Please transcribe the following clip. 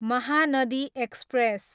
Mahanadi express